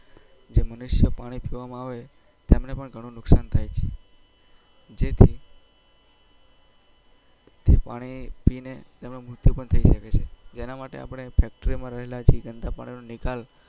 જે મનુષ્યો પાણી પીવામાં આવે હોય તેમને પણ ગણું નુકશાન થઇ છે જેથી જે પાણી પીને તેમનું મૃત્યુ પણ થઇ શકે છે જેના માટે રહેલા જે ગંદા પાણી નો નિકાલ